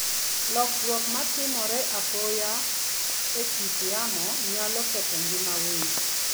Lokruok ma timore apoya e kit yamo, nyalo ketho ngima winy.